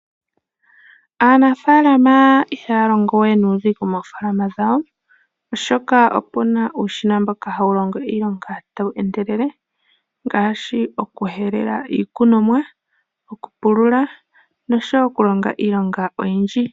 Aanafaalama ihaya longo we nuudhigu moofaalama dhawo, oshoka oku na uushina mboka hawu longo iilonga tawu endelele ngaashi okuhelela iikunomwa, okupulula oshowo okulonga iilonga oyindji.